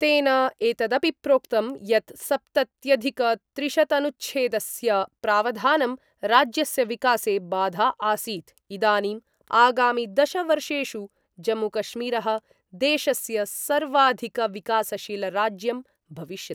तेन एतदपि प्रोक्तम् यत् सप्तत्यधिकत्रिशतनुच्छेदस्य प्रावधानं राज्यस्य विकासे बाधा आसीत् इदानीं आगामि दशवर्षेषु जम्मूकश्मीर: देशस्य सर्वाधिकविकासशीलराज्यं भविष्यति।